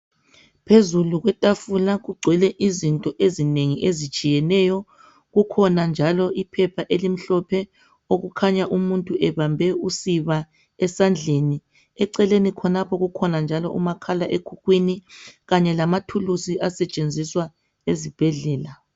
Phezulu kwetafula kugcwele izinto ezinengi ezitshiyeneyo kukhona njalo iphepha elimhlophe okukhanya umuntu ebambe usiba esandleni eceleni khonapho kukhona njalo umakhala ekhukhwini kanye lamathulusi asetshenziswa ezibhedlela